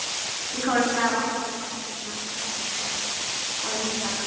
Við komumst af án hans hafði hún sagt.